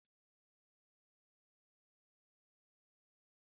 Hanyoyi sun bambanta, amma yin amfani da hankali da kulawa mai kyau suna haɓaka tasirin kayan aiki.